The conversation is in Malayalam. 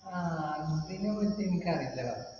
ആഹ് അതിനെപ്പറ്റി എനിക്കറിയില്ലട